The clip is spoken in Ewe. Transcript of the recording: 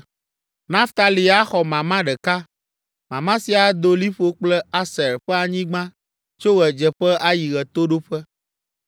Naftali axɔ mama ɖeka. Mama sia ado liƒo kple Aser ƒe anyigba tso ɣedzeƒe ayi ɣetoɖoƒe.